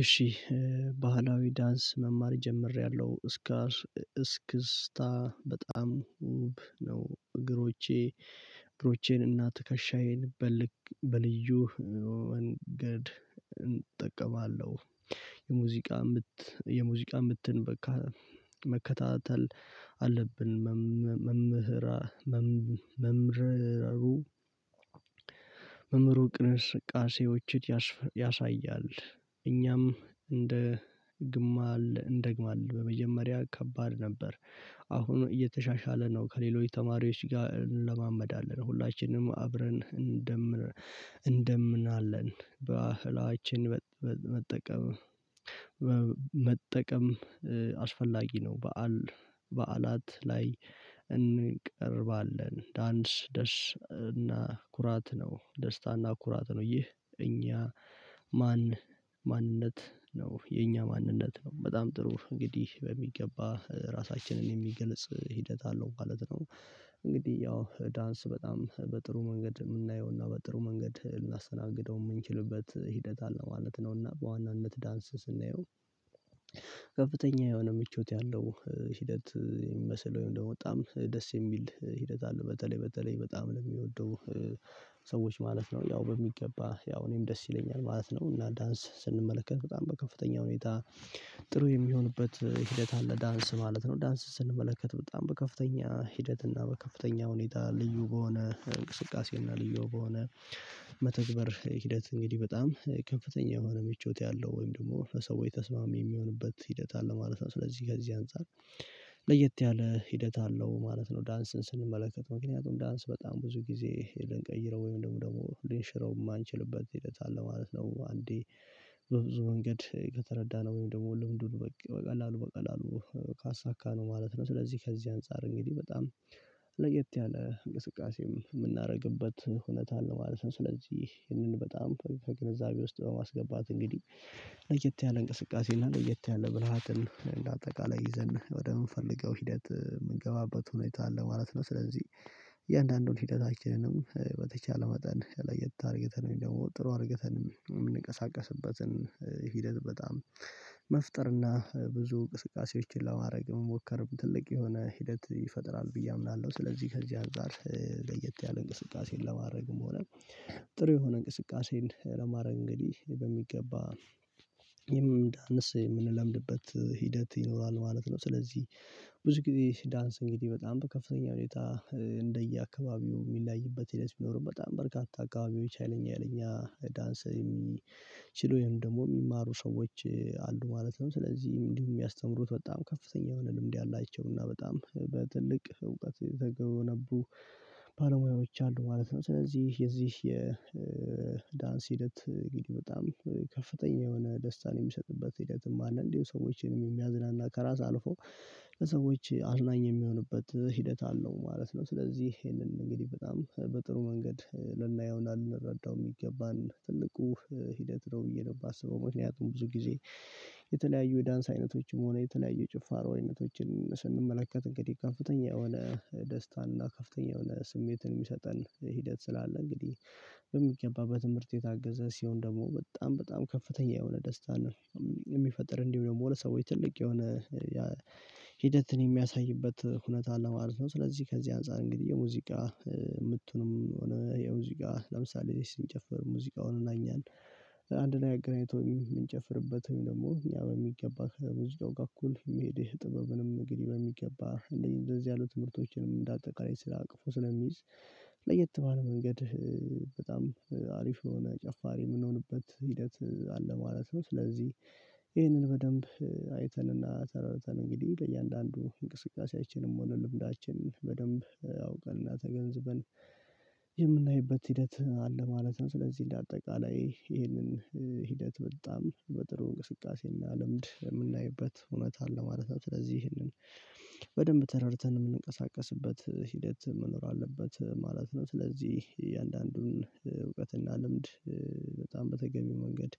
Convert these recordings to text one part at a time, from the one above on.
እሺ ባህላዊ ዳንስ መማር ጀምሬያለሁ እስካር እስክስታ በጣም ነው እግሮቼ እግሮቼን እና ትከሻዬን በልዩ መንገድ እጠቀማለሁ። የሙዚቃ ምትን በቃ መከታተል አለብን መምህራ መምረሩ መምህሩ ቅንስቃሴዎችን ያሳያል። እኛም እንደ ግማል እንደግማለን በመጀመሪያ ከባድ ነበር። አሁን እየተሻሻለ ነው። ከሌሎች ተማሪዎች ጋር እንለማመዳለን ሁላችንም አብረን እንደምን አለን ባህላችን። መጠቀም መጠቀም አስፈላጊ ነው። በዓል በዓላት ላይ እንቀርባለን ዳንስ ደስ እና ኩራት ነው። ደስታ እና ኩራት ነው። አየህ እኛ ማን ማንነት ነው የኛ ማንነት ነው። በጣም ጥሩ እንግዲህ በሚገባ ራሳችንን የሚገልጽ ሂደት አለው ማለት ነው። እንግዲህ ያው ዳንስ በጣም በጥሩ መንገድ የምናየውና በጥሩ መንገድ ልናስተናግደው የምንችልበት ሂደት አለ ማለት ነው። እና በዋናነት ዳንስ ስናየው ከፍተኛ የሆነ ምቾት ያለው ሂደት የሚመስል ወይም ደግሞ በጣም ደስ የሚል ሂደት አለው። በተለይ በተለይ በጣም ነው ለሚወደው ሰዎች ማለት ነው። ያው በሚገባ ያው እኔም ደስ ይለኛል ማለት ነው። እና ዳንስ ስንመለከት በጣም በከፍተኛ ሁኔታ ጥሩ የሚሆንበት ሂደት አለ። ዳንስ ማለት ነው። ዳንስ ስንመለከት በጣም በከፍተኛ ሂደት እና በከፍተኛ ሁኔታ ልዩ በሆነ እንቅስቃሴ እና ልዩ በሆነ መተግበር ሂደት እንግዲህ በጣም ከፍተኛ የሆነ ምቾት ያለው ወይም ደግሞ ለሰው የተስማሚ የሚሆንበት ሂደት አለ ማለት ነው። ስለዚህ ጋር ከዚህ አንፃር ለየት ያለ ሂደት አለው ማለት ነው። ዳንስን ስንመለከት ምክንያቱም ዳንስ በጣም ብዙ ጊዜ ልንቀይረው ወይም ደግሞ ደግሞ ልንሽረው የማንችልበት ሂደት አለ ማለት ነው። አንዴ በብዙ መንገድ ከተረዳነው ወይም ደግሞ ለምንዱን በቀላሉ በቀላሉ ካስነካነው ማለት ነው። ስለዚህ ከዚህ አንፃር እንግዲህ በጣም ለየት ያለ እንቅስቃሴም የምናደርግበት እውነት አለ ማለት ነው። ስለዚህ ይህንን በጣም ከግንዛቤ ውስጥ በማስገባት እንግዲህ ለየት ያለ እንቅስቃሴ እና ለየት ያለ ብልሃትን እንደ አጠቃላይ ይዘን ወደ ምንፈልገው ሂደት የምንገባበት ሁኔታ አለ ማለት ነው። ስለዚህ እያንዳንዱን ሂደታችንንም በተቻለ መጠን ለየት አርግተን ወይም ደግሞ ጥሩ አርግተንም ምንቀሳቀስበትን ሂደት በጣም መፍጠርና ብዙ እንቅስቃሴዎችን ለማድረግ የሚሞከርም ትልቅ የሆነ ሂደት ይፈጥራል ብዬ አምናለሁ። ስለዚህ ከዚህ አንፃር ለየት ያለ እንቅስቃሴን ለማድረግም ሆነ ጥሩ የሆነ እንቅስቃሴን ለማድረግ እንግዲህ በሚገባ የምንዳንስ የምንለምድበት ሂደት ይኖራል ማለት ነው። ስለዚህ ብዙ ጊዜ ዳንስ እንግዲህ በጣም በከፍተኛ ሁኔታ እንደ የአካባቢው የሚለያይበት ሂደት ቢኖርም በጣም በርካታ አካባቢዎች ሀይለኛ ሀይለኛ ዳንስ የሚችሉ ወይም ደግሞ የሚማሩ ሰዎች አሉ ማለት ነው። ስለዚህም እንዲሁ የሚያስተምሩት በጣም ከፍተኛ የሆነ ልምድ ያላቸው እና በጣም በትልቅ እውቀት የተገነቡ ባለሙያዎች አሉ ማለት ነው። ስለዚህ የዚህ የዳንስ ሂደት እንግዲህ በጣም ከፍተኛ የሆነ ደስታን የሚሰጥበት ሂደትም አለ እንዲሁም ሰዎችንም የሚያዝናና ከራስ አልፎ ለሰዎች አዝናኝ የሚሆንበት ሂደት አለው ማለት ነው። ስለዚህ ይሄንን እንግዲህ በጣም በጥሩ መንገድ ልናየውና ልንረዳው የሚገባን ትልቁ ሂደት ነው ብዬ ነው ማስበው። ምክንያቱም ብዙ ጊዜ የተለያዩ የዳንስ አይነቶችም ሆነ የተለያዩ የጭፋሮ አይነቶችን ስንመለከት እንግዲህ ከፍተኛ የሆን ደስታን እና ከፍተኛ የሆነ ስሜትን የሚሰጠን ሂደት ስላለ እንግዲህ በሚገባ በትምህርት የታገዘ ሲሆን ደግሞ በጣም በጣም ከፍተኛ የሆነ ደስታን የሚፈጥር እንዲሁ ደግሞ ለሰዎች ትልቅ የሆነ ሂደትን የሚያሳይበት እውነት አለ ማለት ነው። ስለዚህ ከዚህ አንፃር እንግዲህ የሙዚቃ ምቱንም ሆነ ይሄው እዚህ ጋር ለምሳሌ ስንጨፍር ሙዚቃውን እና እኛን አንድ ላይ አገናኝቶም የምንጨፍርበት ወይም ደግሞ እኛ በሚገባ ከሙዚቃው ጋር እኩል የሚሄድ ጥበብንም እንግዲህ በሚገባ እንደዚህ ያሉ ትምህርቶችንም እንደ አጠቃላይ ስላአቅፎ ስለሚይዝ ለየት ባለ መንገድ በጣም አሪፍ የሆነ ጨፋሪ የምንሆንበት ሂደት አለ ማለት ነው። ስለዚህ ይሄንን በደንብ አይተንና ተረድተን እንግዲህ ለእያንዳንዱ እንቅስቃሴያችንም ሆነ ልምዳችን በደንብ አውቀንና ተገንዝበን የምናይበት ሂደት አለ ማለት ነው። ስለዚህ እንደ አጠቃላይ ይሄንን ሂደት በጣም በጥሩ እንቅስቃሴ ልምድ የምናይበት እውነት አለ ማለት ነው። ስለዚህ ይህንን በደንብ ተረድተን የምንቀሳቀስበት ሂደት መኖር አለበት ማለት ነው። ስለዚህ የእያንዳንዱን እውቀትና ልምድ በጣም በተገቢው መንገድ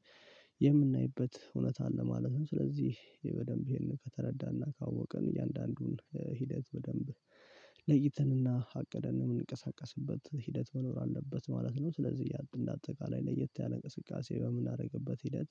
የምናይበት እውነት አለ ማለት ነው። ስለዚህ የበደንብ ይሄንን ከተረዳና ካወቅን እያንዳንዱን ሂደት በደንብ ለይተንና አቅደን የምንቀሳቀስበት ሂደት መኖር አለበት ማለት ነው። ስለዚህ ያ እንደ አጠቃላይ ለየት ያለ እንቅስቃሴ በምናደርግበት ሂደት